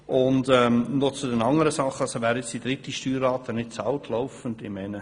Noch zu den anderen Punkten: Wer die dritte Steuerrate nicht «laufend» bezahlt.